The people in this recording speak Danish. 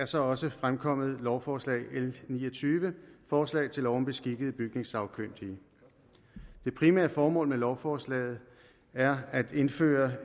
så også fremkommet lovforslag l ni og tyve forslag til lov om beskikkede bygningssagkyndige det primære formål med lovforslaget er at indføre et